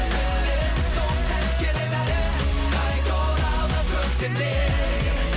білемін сол сәт келеді әлі қайта оралған көктемдей